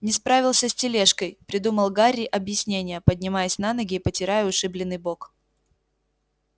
не справился с тележкой придумал гарри объяснение поднимаясь на ноги и потирая ушибленный бок